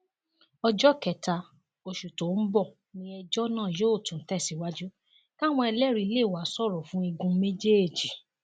ọjọ kẹta oṣù tó ń bọ ni ẹjọ náà yóò tún tẹsàìwájú káwọn ẹlẹrìí lè wáá sọrọ fún igun méjèèjì